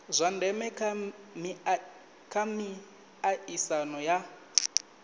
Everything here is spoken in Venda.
zwa ndeme kha miaisano ya